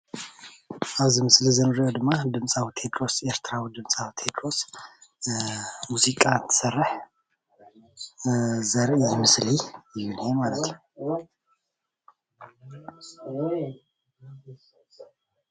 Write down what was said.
ኣብዚ ምስሊ እዙይ እንሪኦ ድማ ኤርትሪዊ ቴድሮስ ድምፃዊ ቴድሮስ ሙዚቃ እንትሰርሕ ዘርኢ ምስሊ እዩ።